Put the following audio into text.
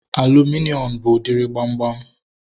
Aluminium bụ udiri gbamgbam